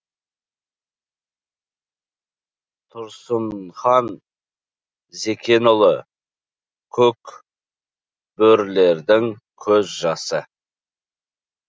тұрсынхан зәкенұлы көк бөрілердің көз жасы